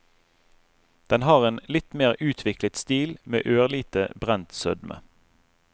Den har en litt mer utviklet stil, med ørlite brent sødme.